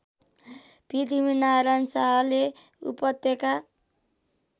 पृथ्वीनारायण शाहले उपत्यका